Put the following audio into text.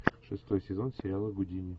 шестой сезон сериала гудини